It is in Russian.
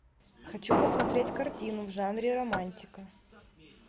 хочу посмотреть картину в жанре романтика